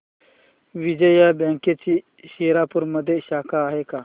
विजया बँकची शिरपूरमध्ये शाखा आहे का